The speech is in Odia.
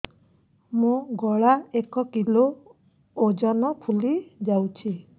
ମୋ ଗଳା ଏକ କିଲୋ ଓଜନ ଫୁଲି ଯାଉଛି